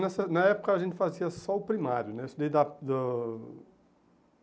Nessa na época a gente fazia só o primário, né. Eu estudei da do